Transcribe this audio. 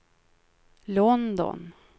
London